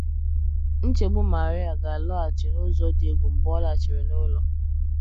Nchegbu Maria ga - alọghachi n’ụzọ dị egwu mgbe ọ lachiri n’ụlọ.